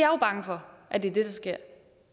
jo bange for er det der sker